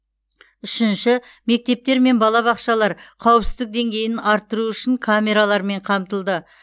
үшінші мектептер мен балабақшалар қауіпсіздік деңгейін арттыру үшін камералармен қамтылды